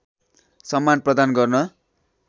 सम्मान प्रदान गर्न